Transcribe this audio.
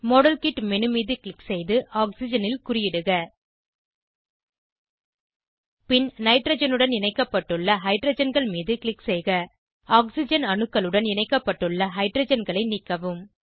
model kit menu மீது click செய்து ஆக்சிஜனில் குறியிடுக பின் நைட்ரஜனுடன் இணைக்கப்பட்டுள்ள ஹைட்ரஜன்கள் மீது க்ளிக் செய்க ஆக்சிஜன் அணுக்களுடன் இணைக்கப்பட்டுள்ள ஹைட்ரஜன்களை நீக்கவும்